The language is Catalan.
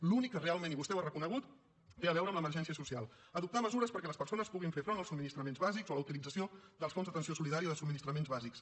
l’únic que realment i vostè ho ha reconegut té a veure amb l’emergència social adoptar mesures perquè les persones puguin fer front als subministraments bàsics o la utilització dels fons d’atenció solidari de subministraments bàsics